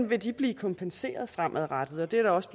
vil blive kompenseret fremadrettet og det er der også